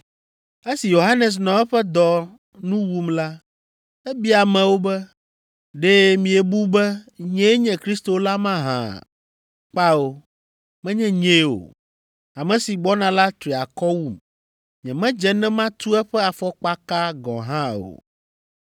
Esi Yohanes nɔ eƒe dɔ nu wum la, ebia amewo be, ‘Ɖe miebu be nyee nye Kristo la mahã? Kpao menye nyee o. Ame si gbɔna la tri akɔ wum. Nyemedze ne matu eƒe afɔkpaka gɔ̃ hã o.’